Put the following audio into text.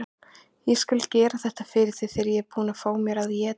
Ég skal gera þetta fyrir þig þegar ég er búinn að fá mér að éta.